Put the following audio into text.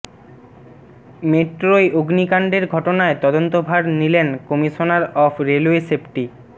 মেট্রোয় অগ্নিকাণ্ডের ঘটনায় তদন্তভার নিলেন কমিশনার অফ রেলওয়ে সেফটি